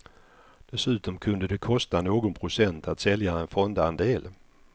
Dessutom kunde det kosta någon procent att sälja en fondandel.